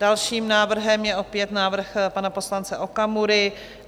Dalším návrhem je opět návrh pana poslance Okamury.